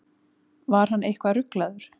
Var hann eitthvað ruglaður?